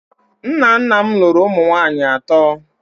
Nna nna m lụrụ ụmụ nwanyị atọ